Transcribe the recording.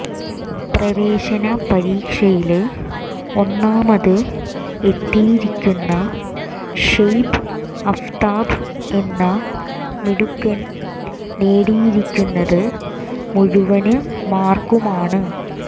പ്രവേശന പരീക്ഷയില് ഒന്നാമത് എത്തിയിരിക്കുന്ന ഷൊയ്ബ് അഫ്താബ് എന്ന മിടുക്കന് നേടിയിരിക്കുന്നത് മുഴുവന് മാര്ക്കുമാണ്